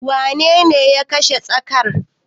Wanene ya kashe tsakar?